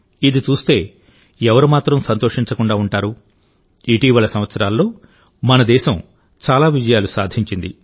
ఇది చూస్తే ఎవరు మాత్రం సంతోషించకుండా ఉంటారు ఇటీవలి సంవత్సరాల్లోమన దేశం చాలా విజయాలు సాధించింది